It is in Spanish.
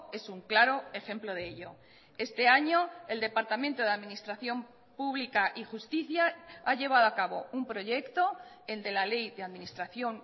es un claro ejemplo de ello este año el departamento de administración pública y justicia ha llevado a cabo un proyecto el de la ley de administración